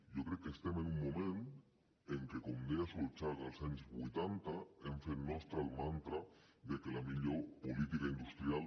jo crec que estem en un moment en què com deia solchaga als anys vuitanta hem fet nostre el mantra que la millor política industrial